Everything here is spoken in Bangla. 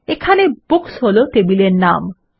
এখানে বুকস হল টেবিলের নাম